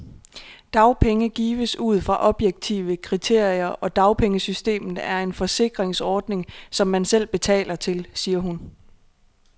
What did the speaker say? Dagpenge gives ud fra objektive kriterier, og dagpengesystemet er en forsikringsordning, som man selv betaler til, siger hun.